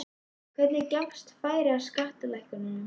Hvenær gefst færi á skattalækkunum?